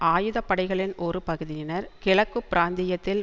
ஆயுத படைகளின் ஒரு பகுதியினர் கிழக்கு பிராந்தியத்தில்